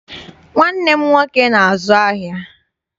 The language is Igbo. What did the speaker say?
Nwanne m nwoke na-azu ahịa.